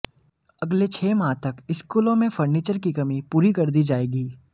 अगले छह माह तक स्कूलों में फर्नीचर की कमी पूरी कर दी जायेगी